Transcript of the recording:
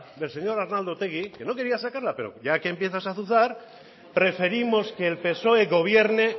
del señor arnaldo otegui que no quería sacarla pero ya que empiezas a azuzar preferimos que el psoe gobierne